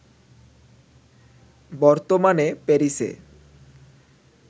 বর্তমানে প্যারিসে